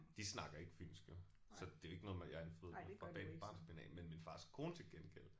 De snakker ikke fynsk jo så det er jo ikke noget med jeg har fået fra barnsben af men min fars kone til gengæld